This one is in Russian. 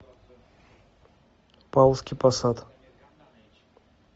павловский посад